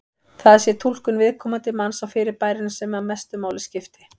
Það sé túlkun viðkomandi manns á fyrirbærinu sem mestu máli skipti.